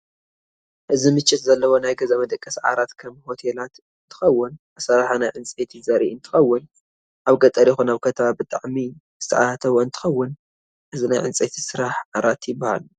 እዚ ምቸት ዘለዎ ናይ ገዛ መደቀስ ዓራት ከም ሆቴላት እንትከውን ኣሰራራሓ ናይ ዕንጨይቲ ዘርእ እንትከውን ኣብ ገጠር ይኩን ኣብ ከተማ ብጣዓም ዝተኣታተውእንትከውን እዚ ናይ ዕንጨይቲ ስራሓቲ ዓራት ይብሃል።